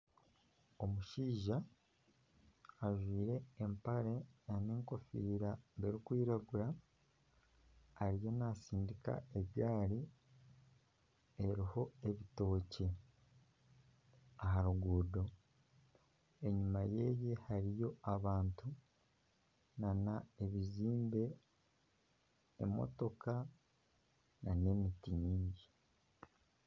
Omushaija ajwire empare n'enkofira erukwiragura ariyo naasindika egaari eriho ebitookye aha ruguudo enyuma ye hariyo abantu, n'ebizimbe , emotoka n'emiti mingi.